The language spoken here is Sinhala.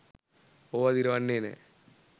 ඕවා දිරවන්නේ නෑ.